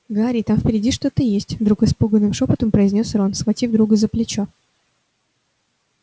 гарри там впереди что-то есть вдруг испуганным шёпотом произнёс рон схватив друга за плечо